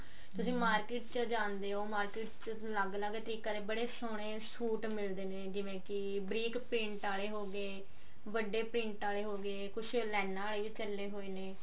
ਤੁਸੀਂ market ਚ ਜਾਂਦੇ ਹੋ market ਚ ਅਲੱਗ ਅਲੱਗ ਤਰੀਕੇ ਦੇ ਬੜੇ ਸੋਹਣੇ ਸੂਟ ਮਿਲਦੇ ਨੇ ਜਿਵੇਂ ਕੀ ਬਰੀਕ print ਆਲੇ ਹੋਗੇ ਵੱਡੇ print ਆਲੇ ਹੋਗੇ ਕੁਛ ਲਾਈਨਾ ਵਾਲੇ ਵੀ ਚੱਲੇ ਹੋਏ ਨੇ